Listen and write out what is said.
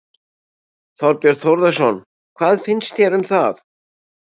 Þorbjörn Þórðarson: Hvað finnst þér um það?